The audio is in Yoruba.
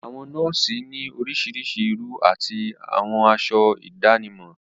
Àwọn nọ́ọ̀sì ni orísirísi irú àti àwọ aṣọ ìdánimọ̀.